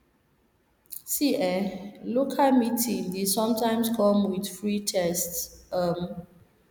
see eh local meeting dey sometimes come with free test um